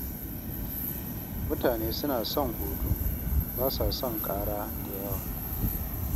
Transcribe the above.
Mutane suna son hutu, ba sa son ƙara da yawa.